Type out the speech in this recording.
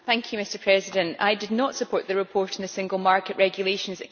Mr President, I did not support the report on the single market regulations.